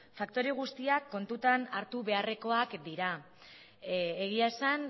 faktore guztiak kontuan hartu beharrekoak dira egia esan